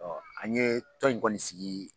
Ɔ an ye tɔn in kɔni sigi.